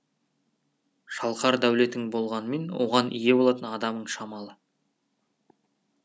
шалқар дәулетің болғанымен оған ие болатын адамың шамалы